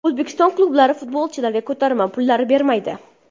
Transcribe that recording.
O‘zbekiston klublari futbolchilarga ko‘tarma pullari bermaydi.